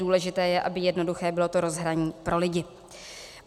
Důležité je, aby jednoduché bylo to rozhraní pro lidi.